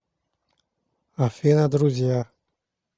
афина друзья